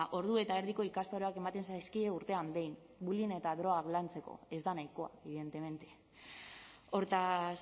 ordu eta erdiko ikastaroak ematen zaizkie urtean behin bullying eta drogak lantzeko ez da nahikoa evidentemente hortaz